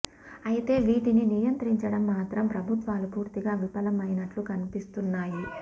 అయితే వీటిని నియత్రించడం మాత్రం ప్రభుత్వాలు పూర్తిగా విఫలం అయినట్లు కనిపిస్తున్నాయి